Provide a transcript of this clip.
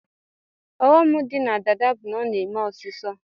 Ọghọm di na dada bu na ọna eme ọsisọ